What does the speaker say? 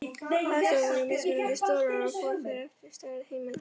Baðstofur voru mismunandi stórar, og fór það eftir stærð heimila.